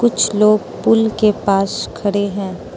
कुछ लोग पुल के पास खड़े हैं।